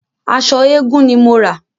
Aṣọ eégun ni mo rà.